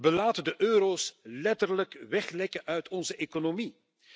We laten de euro's letterlijk weglekken uit onze economie.